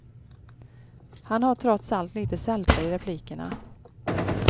Han har trots allt lite sälta i replikerna.